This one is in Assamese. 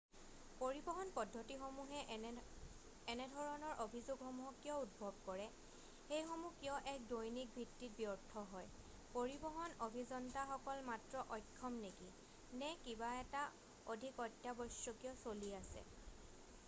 পৰিবহন পদ্ধতিসমূহে এনেধৰণৰ অভিযোগসমূহক কিয় উদ্ভৱ কৰে সেইসমূহ কিয় এক দৈনিক ভিত্তিত ব্যৰ্থ হয় পৰিবহণ অভিযন্তাসকল মাত্ৰ অক্ষম নেকি নে কিবা এটা অধিক অত্যাৱশ্যকীয় চলি আছে